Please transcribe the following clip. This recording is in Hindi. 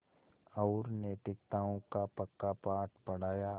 और नैतिकताओं का पक्का पाठ पढ़ाया